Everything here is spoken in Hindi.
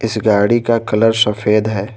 इस गाड़ी का कलर सफेद है।